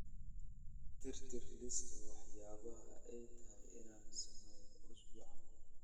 tirtir liiska waxyaabaha ay tahay inaan sameeyo usbuucan